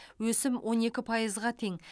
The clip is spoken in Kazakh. өсім он екі пайызға тең